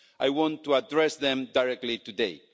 I want to address them directly today.